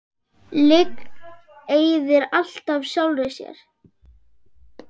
Lygin eyðir alltaf sjálfri sér.